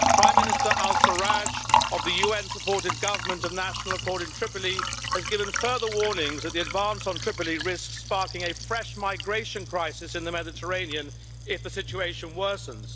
Prime Minister al Sarraj of the UN supported Government of National Accord in Tripoli has given further warnings that the advance on Tripoli risks sparking a fresh migration crisis in the Mediterranean if the situation worsens.